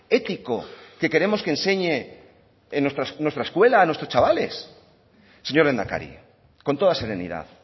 ético que queremos que enseñe nuestra escuela a nuestros chavales señor lehendakari con toda serenidad